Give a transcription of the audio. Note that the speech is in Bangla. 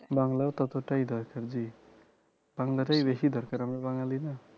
বাংলাও ততোটাই দরকার জী বাংলাটাই বেশী দরকার আমরা বাঙালি না